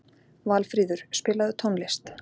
Valfríður, spilaðu tónlist.